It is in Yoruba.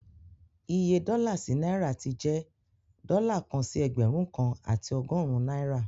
Iye dọ́là sí náìrà ti jẹ dọ́là kan sí Ẹgbẹ̀rún kan àti ọgọ́rùn náìrà